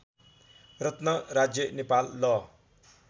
रत्न राज्य नेपाल ल